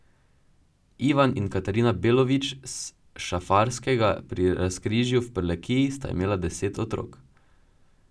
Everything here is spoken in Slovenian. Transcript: Ivan in Katarina Belovič s Šafarskega pri Razkrižju v Prlekiji sta imela deset otrok.